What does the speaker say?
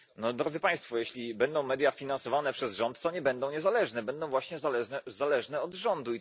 No Drodzy Państwo, jeśli media będą finansowane przez rząd, to nie będą niezależne, będą właśnie zależne od rządu.